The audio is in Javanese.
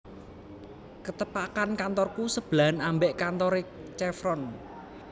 Ketepakan kantorku sebelahan ambek kantore Chevron